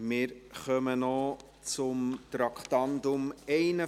Wir kommen noch zum Traktandum 51.